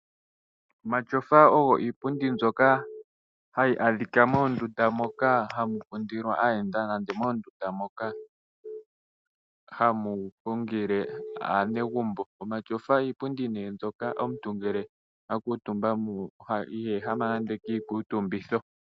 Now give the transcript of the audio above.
Omatyofa ogo iipundi mbyoka hayi adhika moondunda moka hamu kundilwa aayenda nande moondunda moka hamu hungile aanegumbo. Omatyofa iipundi mbyoka omuntu ngele akuutumba ko iha ehama nande kiikuutumbitho.